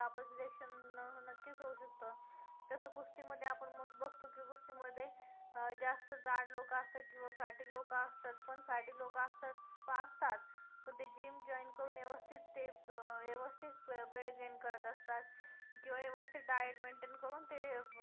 कुस्ती मध्ये जास्त जाड लोकं असतात किंवा fatty लोकं असतात पण fatty लोकं असतात असतात पण ते gym join करून व्यवस्थित ते व्यवस्थित weight gain करत असतात किंवा व्यवस्थित diet maintain करून ते